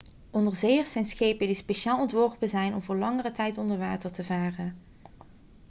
onderzeeërs zijn schepen die speciaal ontworpen zijn om voor langere tijd onder water te varen